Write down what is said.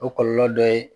O kɔlɔlɔ dɔ ye